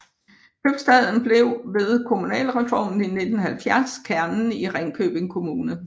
Købstaden blev ved kommunalreformen i 1970 kernen i Ringkøbing Kommune